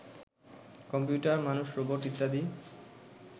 computer, মানুষ, robot ইত্যাদি